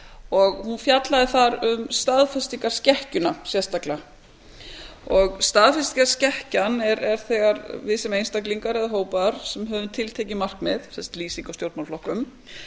og hún fjallaði þar um staðfestingarskekkjuna sérstaklega staðfestingarskekkjan er þegar við sem einstaklingar eða hópar sem höfum tiltekin markmið sem sagt lýsing á stjórnmálaflokkum